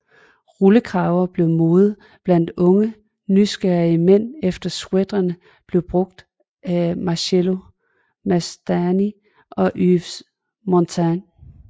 Rullekraver blev mode blandt unge nyrige mænd efter sweatrene blev brugt af Marcello Mastroianni og Yves Montand